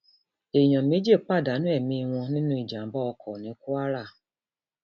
èèyàn méjì pàdánù ẹmí wọn nínú ìjàmbá ọkọ ní kwara